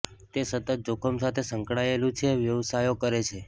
તે સતત જોખમ સાથે સંકળાયેલું છે વ્યવસાયો કરે છે